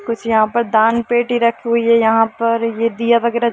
कुछ यहाँ पर दानपेटी रखी हुई है यहाँ पर ये दिया-वगेरा---